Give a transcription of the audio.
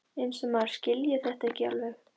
Eins og maður skilji þetta ekki alveg!